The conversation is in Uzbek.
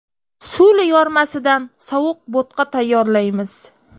Suli yormasidan sovuq bo‘tqa tayyorlaymiz.